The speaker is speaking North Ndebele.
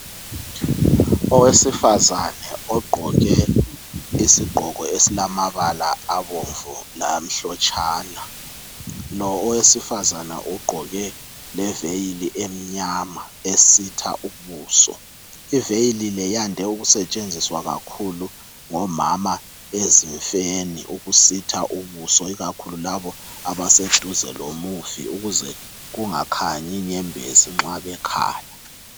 Owesifazana ogqoke isigqoko esilamabala abomvu lamhlotshana lo owesifazana ugqoke leveyili emnyama esitha ubuso iveyili le yande ukusetsheziswa kakhulu ngomama ezimfeni ukusitha ubuso ikakhulu labo abaseduze lomufi ukuze kungakhanyi inyembezi nxa bekhala.